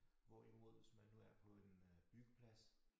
Hvorimod hvis man nu er på en øh byggeplads